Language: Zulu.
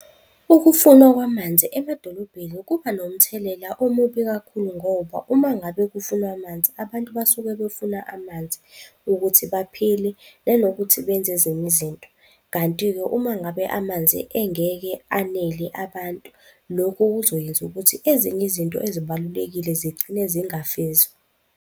Ukufunwa kwamanzi emadolobheni kuba nomthelela omubi kakhulu ngoba uma ngabe kufunwa amanzi abantu basuke befuna amanzi ukuthi baphile, nanokuthi benze ezinye izinto. Kanti-ke uma ngabe amanzi engeke anele abantu, lokhu kuzoyenza ukuthi ezinye izinto ezibalulekile zigcine zingafezwa.